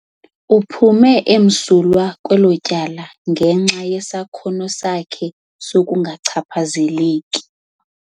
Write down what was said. Uphume msulwa kwelo tyala ngenxa yesakhono sakhe sokungachaphazeleki.